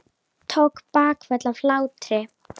Tók bakföll af hlátri.